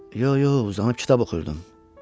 Yox, yox, uzanıb kitab oxuyurdum.